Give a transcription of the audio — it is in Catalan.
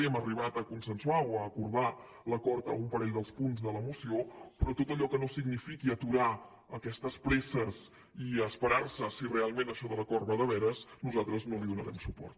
hem arribat a consensuar o a acordar l’acord en un parell dels punts de la moció però a tot allò que no signifiqui aturar aquestes presses i esperar se a si realment això de l’acord va de veres nosaltres no hi donarem suport